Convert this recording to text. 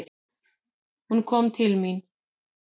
Hún kom til mín.